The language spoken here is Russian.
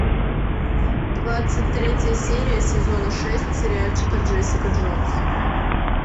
двадцать третья серия сезона шесть сериальчика джессика джонс